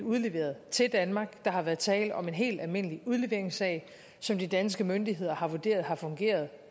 udleveret til danmark der har været tale om en helt almindelig udleveringssag som de danske myndigheder har vurderet har fungeret